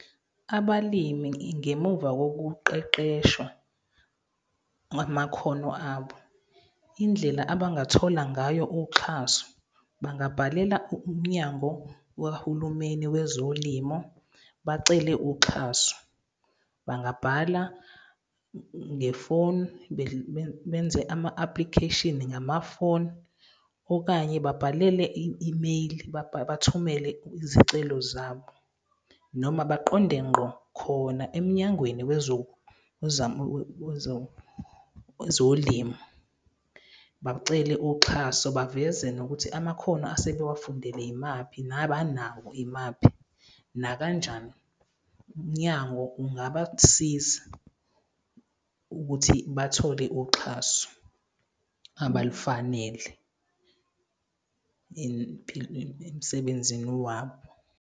Abalimi, ngemuva wokuqeqeshwa amakhono abo, indlela abangathola ngayo uxhaso, bangabhalela uMnyango wahulumeni wezoLimo bacele uxhaso. Bangabhala ngefoni, benze ama-application ngamafoni okanye babhalele i-imeyili, bathumele izicelo zabo. Noma baqonde ngqo khona eMnyangweni wezoLimo, bacele uxhaso baveze nokuthi amakhono asebewafundele imaphi nabanawo imaphi, nakanjani uMnyango ungabasiza ukuthi bathole uxhaso abalufanele emsebenzini wabo.